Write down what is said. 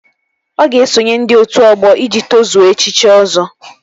Ọ ga-esonye ndị otu ọgbọ iji tozuo echichi Ọzọ